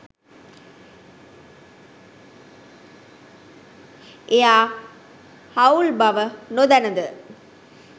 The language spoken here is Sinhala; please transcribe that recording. එයා හවුල් බව නොදැනද?